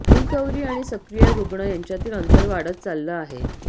recovery आणि सक्रिय रुग्ण यांच्यातील अंतर वाढत चाललं आहे